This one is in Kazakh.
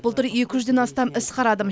былтыр екі жүзден астам іс қарадым